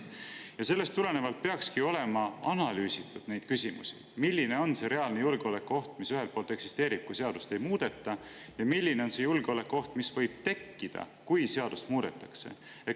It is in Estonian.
Ja sellest tulenevalt peakski olema analüüsitud, milline on see reaalne julgeolekuoht, mis ühelt poolt eksisteerib, kui seadust ei muudeta, ja milline on see julgeolekuoht, mis võib tekkida, kui seadust muudetakse.